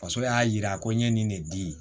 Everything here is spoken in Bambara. Faso y'a yira ko n ye nin de di